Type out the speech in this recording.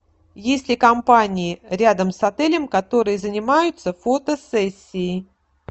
есть ли компании рядом с отелем которые занимаются фотосессией